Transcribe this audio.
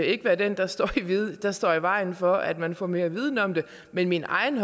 ikke være den der står der står i vejen for at man får mere viden om det men min egen